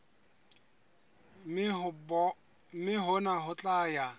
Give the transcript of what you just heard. mme hona ho tla ya